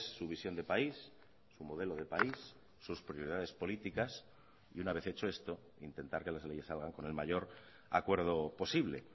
su visión de país su modelo de país sus prioridades políticas y una vez hecho esto intentar que las leyes salgan con el mayor acuerdo posible